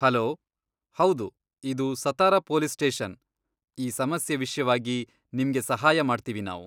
Hello, ಹೌದು ಇದು Satara police station, ಈ ಸಮಸ್ಯೆ ವಿಷ್ಯವಾಗಿ ನಿಮ್ಗೆ ಸಹಾಯ ಮಾಡ್ತೀವಿ ನಾವು.